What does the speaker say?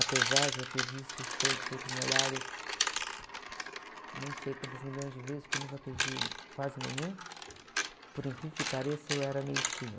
Apesar de eu ter visto o show do Secos e Molhados, nem sei quantas milhões de vezes, porque eu nunca perdi quase nenhum, por incrível que pareça, eu era meio tímida.